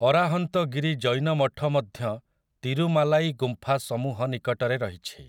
ଅରାହନ୍ତଗିରି ଜୈନ ମଠ ମଧ୍ୟ ତିରୁମାଲାଇ ଗୁମ୍ଫା ସମୂହ ନିକଟରେ ରହିଛି ।